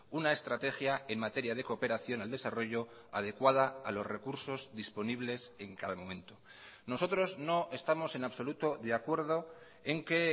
una estrategia en materia de cooperación al desarrollo adecuada a los recursos disponibles en cada momento nosotros no estamos en absoluto de acuerdo en que